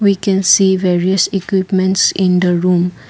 we can see various equipments in the room.